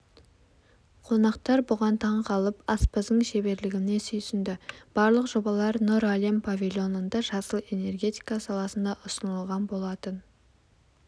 қонақтар бұған таңғалып аспаздың шеберлігіне сүйсінді барлық жобалар нұр әлем павильонында жасыл энергетика саласында ұсынылған болатын